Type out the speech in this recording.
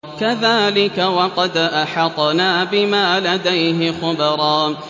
كَذَٰلِكَ وَقَدْ أَحَطْنَا بِمَا لَدَيْهِ خُبْرًا